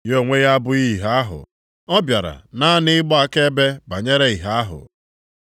Ya onwe ya abụghị ìhè ahụ, ọ bịara naanị ịgba akaebe banyere ìhè ahụ.